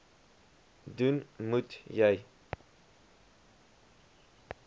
doen moet jy